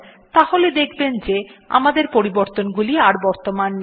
তাহলে দেখবেন যে আমাদের পরিবর্তনগুলো আর বর্তমান নেই